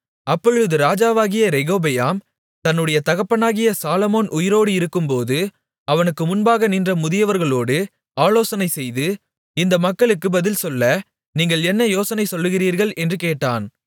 அப்பொழுது ராஜாவாகிய ரெகொபெயாம் தன்னுடைய தகப்பனாகிய சாலொமோன் உயிரோடு இருக்கும்போது அவனுக்கு முன்பாக நின்ற முதியவர்களோடு ஆலோசனைசெய்து இந்த மக்களுக்கு பதில் சொல்ல நீங்கள் என்ன யோசனை சொல்லுகிறீர்கள் என்று கேட்டான்